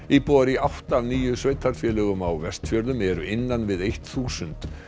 íbúar í átta af níu sveitarfélögum á Vestfjörðum eru innan við eitt þúsund